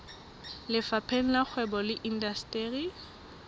lefapheng la kgwebo le indasteri